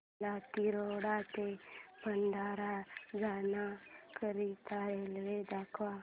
मला तिरोडा ते भंडारा जाण्या करीता रेल्वे दाखवा